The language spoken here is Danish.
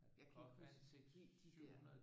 Jeg kan ikke huske helt de der